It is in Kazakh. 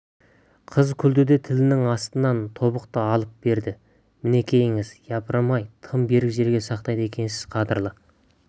қыз күлді де тілінің астынан тобықты алып берді мінекейіңіз япырмай тым берік жерге сақтайды екенсіз қадірлі